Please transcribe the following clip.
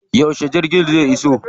Yauce jirgin zai iso?